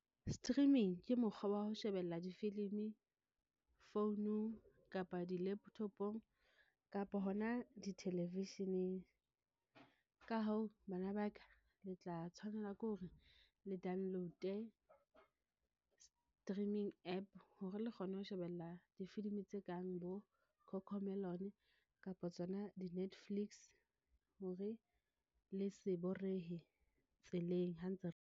Streaming ke mokgwa wa ho shebella difilimi founung, kapa di-laptop-ong kapa hona di-television-eng ka hoo, bana baka le tla tshwanela ke hore le downloade, streaming app hore le kgone ho shebella difilimi tse kang bo Cocomelon kapa tsona di Netflix hore le se borehe tseleng ha ntse re.